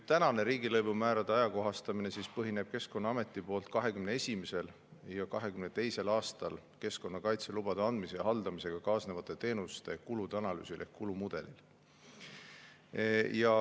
Tänane riigilõivumäärade ajakohastamine põhineb Keskkonnaameti 2021. ja 2022. aasta kohta tehtud keskkonnakaitselubade andmise ja haldamisega kaasnevate teenuste kulude analüüsil ehk kulumudelil.